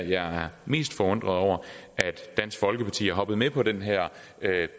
jeg er mest forundret over at dansk folkeparti er hoppet med på den her